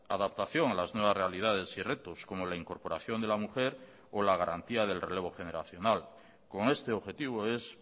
adaptación a las nuevas realidades y retos como la incorporación de la mujer o la garantía del relevo generacional con este objetivo es